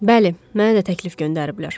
Bəli, mənə də təklif göndəriblər.